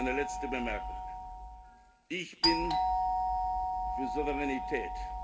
Eine letzte Bemerkung Ich bin für Souveränität.